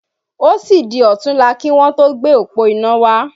Ó sì di òtúnla kí wọn tó gbé òpó iná wá